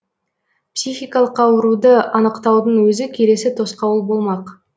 психикалық ауруды анықтаудың өзі келесі тосқауыл болмақ